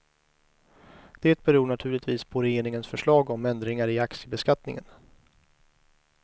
Det beror naturligtvis på regeringens förslag om ändringar i aktiebeskattningen.